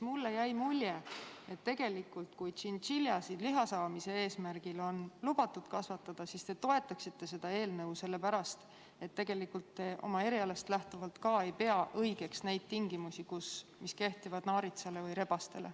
Mulle jäi mulje, et kui tšintšiljasid oleks liha saamise eesmärgil lubatud kasvatada, siis te toetaksite seda eelnõu, sellepärast et te oma erialast lähtuvalt siiski ei pea õigeks neid tingimusi, mis kehtivad naaritsatele ja rebastele.